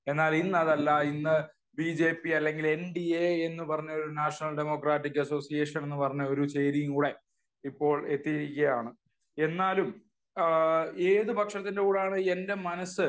എന്നാൽ ഇന്ന് അതല്ല. ഇന്ന് ബി ജെ പി അല്ലെങ്കിൽ എൻ ഡി എ എന്ന് പറഞ്ഞ ഒരു നാഷനൽ ഡെമോക്രാറ്റിക് അസോസിയേഷൻ എന്ന് പറഞ്ഞ ഒരു ചേരിയും കൂടെ ഇപ്പോൾ എത്തിയിരിക്കുകയാണ്. എന്നാലും ഏത് പക്ഷത്തിന്റെ കൂടെ ആണ് എന്റെ മനസ്സ്